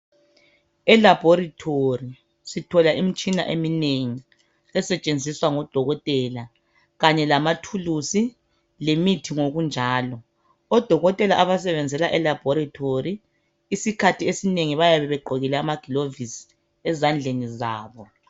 Elabhoritori sithola imitshina eminengi esetshenziswa ngodokotela kanye lamathuluzi lemithi ngokunjalo. Odokotela abasebenzela elabhorethori isikhathi esinengi bayabe begqokile amagilovisi ezandleni zabo.